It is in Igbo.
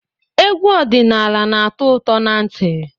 Egwu ọdịnaala na-atọ ụtọ na ntị.